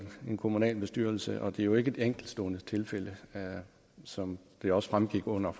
en kommunalbestyrelse og det er jo ikke et enkeltstående tilfælde som det også fremgik under